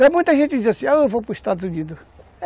Tem muita gente que diz assim, eu vou para os Estados Unidos.